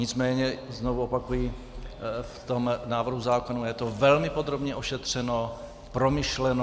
Nicméně znovu opakuji, v tom návrhu zákona je to velmi podrobně ošetřeno, promyšleno.